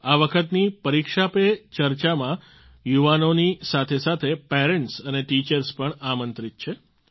આ વખતની પરીક્ષા પર ચર્ચામાં યુવાઓની સાથે સાથે પેરન્ટ્સ અને ટીચર્સ પણ આમંત્રિત છે